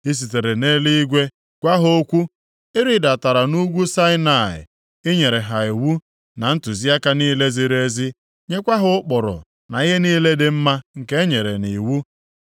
“I sitere nʼeluigwe gwa ha okwu, ị rịdatara nʼugwu Saịnaị, ị nyere ha iwu na ntụziaka niile ziri ezi, nyekwa ha ụkpụrụ na ihe niile dị mma nke enyere nʼiwu.